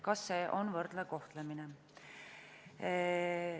Kas see on võrdne kohtlemine?